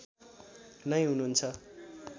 नै हुनुहुन्छ